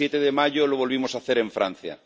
el 7 de mayo, lo volvimos a hacer en Francia.